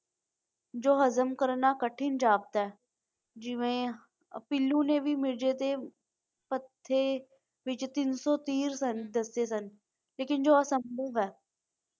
ਜੋ ਹਜ਼ਮ ਕਰਨਾ ਕਠਿਨ ਜਾਪਦਾ ਹੈ ਜਿਵੇਂ ਪੀਲੂ ਨੇ ਵੀ ਮਿਰਜ਼ੇ ਦੇ ਹੱਥੇ ਵਿੱਚ ਤਿੰਨ ਸੋ ਤੀਹ ਦੱਸੇ ਸਨ ਲੇਕਿਨ ਜੋ ਸੰਭਵ ਹੈ।